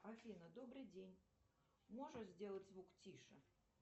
афина добрый день можешь сделать звук тише